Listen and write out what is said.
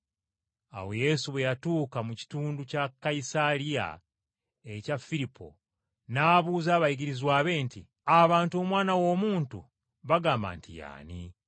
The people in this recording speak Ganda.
Awo Yesu bwe yatuuka mu kitundu kya Kayisaliya ekya Firipo n’abuuza abayigirizwa be nti, “Abantu Omwana w’Omuntu bagamba nti ye ani?”